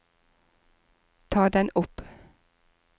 ta den opp